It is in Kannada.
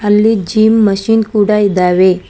ಇಲ್ಲಿ ಜಿಮ್ ಮಷೀನ್ ಕೂಡ ಇದ್ದಾವೆ.